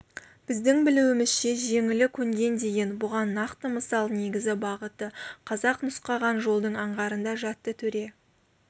біздің білуімізше жеңілі көнген деген бұған нақты мысал негізгі бағыты қазақ нұсқаған жолдың аңғарында жатты төре